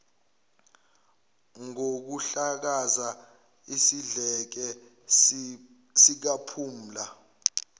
ngokuhlakaza isidleke sikaphumla